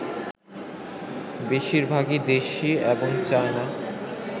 বেশিরভাগই দেশি এবং চায়না